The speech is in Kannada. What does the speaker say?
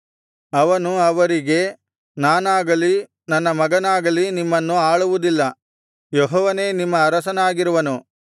ಅವನು ಅವರಿಗೆ ನಾನಾಗಲಿ ನನ್ನ ಮಗನಾಗಲಿ ನಿಮ್ಮನ್ನು ಆಳುವುದಿಲ್ಲ ಯೆಹೋವನೇ ನಿಮ್ಮ ಅರಸನಾಗಿರುವನು